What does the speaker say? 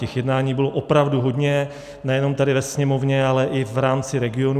Těch jednání bylo opravdu hodně nejenom tady ve Sněmovně, ale i v rámci regionů.